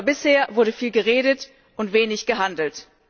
Aber bisher wurde viel geredet und wenig gehandelt.